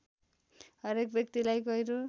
हरेक व्यक्तिलाई गहिरो